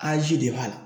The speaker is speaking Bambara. Anzi de b'a la